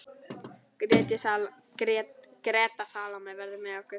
Greta Salóme verður með okkur.